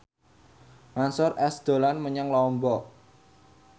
Mansyur S dolan menyang Lombok